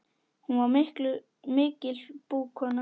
Hún var mikil búkona.